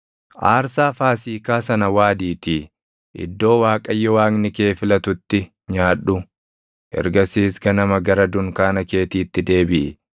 Aarsaa Faasiikaa sana waadiitii iddoo Waaqayyo Waaqni kee filatutti nyaadhu. Ergasiis ganama gara dunkaana keetiitti deebiʼi.